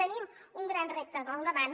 tenim un gran repte al davant